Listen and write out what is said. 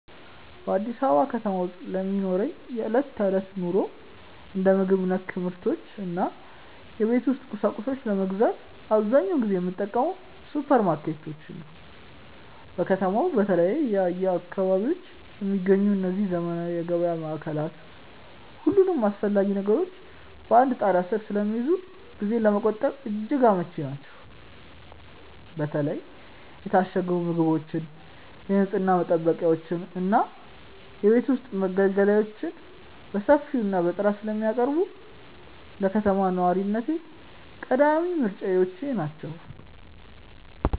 በአዲስ አበባ ከተማ ውስጥ ለሚኖረኝ የዕለት ተዕለት ኑሮ፣ እንደ ምግብ ነክ ምርቶች እና የቤት ውስጥ ቁሳቁሶችን ለመግዛት አብዛኛውን ጊዜ የምጠቀመው ሱፐርማርኬቶችን ነው። በከተማዋ በተለያዩ አካባቢዎች የሚገኙት እነዚህ ዘመናዊ የገበያ ማዕከላት፣ ሁሉንም አስፈላጊ ነገሮች በአንድ ጣሪያ ስር ስለሚይዙ ጊዜን ለመቆጠብ እጅግ አመቺ ናቸው። በተለይ የታሸጉ ምግቦችን፣ የንፅህና መጠበቂያዎችን እና የቤት ውስጥ መገልገያዎችን በሰፊው እና በጥራት ስለሚያቀርቡ፣ ለከተማ ነዋሪነቴ ቀዳሚ ምርጫዬ ናቸው።